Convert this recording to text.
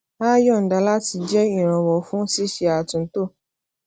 a yọnda láti jẹ ìrànwọ fún ṣíṣe àtúntò